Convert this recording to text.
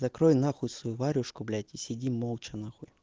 закрой нахуй свою варежку блять и сиди молча нахуй